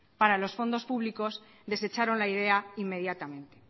para los fondos públicos desecharon la idea inmediatamente